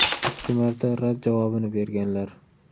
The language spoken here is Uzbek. Ikki marta rad javobini berganlar.